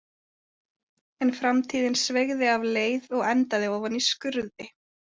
En framtíðin sveigði af leið og endaði ofan í skurði.